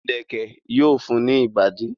ìlẹ̀kẹ̀ yóò fun ní ìbàdí.